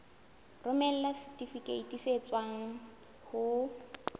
romela setifikeiti se tswang ho